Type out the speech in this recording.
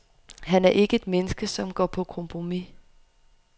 Han er ikke et menneske, som går på kompromis.